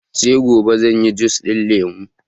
sai gobe zanyi jus ɗin lemo